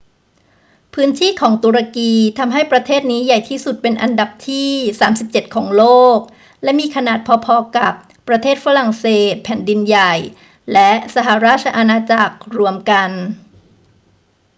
พื้นที่ของตุรกีทำให้ประเทศนี้ใหญ่ที่สุดเป็นอันดับที่ 37 ของโลก และมีขนาดพอ ๆ กับประเทศฝรั่งเศสแผ่นดินใหญ่และสหราชอาณาจักรรวมกัน